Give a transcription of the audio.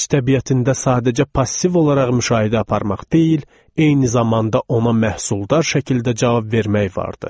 Gənc təbiətində sadəcə passiv olaraq müşahidə aparmaq deyil, eyni zamanda ona məhsuldar şəkildə cavab vermək vardı.